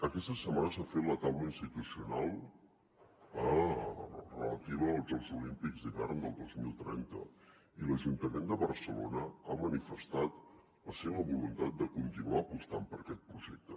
aquesta setmana s’ha fet la taula institucional relativa als jocs olímpics d’hivern del dos mil trenta i l’ajuntament de barcelona ha manifestat la seva voluntat de continuar apostant per aquest projecte